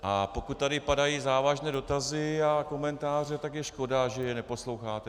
A pokud tady padají závažné dotazy a komentáře, tak je škoda, že je neposloucháte.